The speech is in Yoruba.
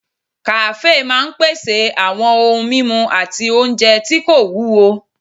Kàáfè máa n pèsè àwọn ohun mímu àti oúnjẹ tí kò wúwo